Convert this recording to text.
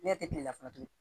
Ne tɛ kilela tuguni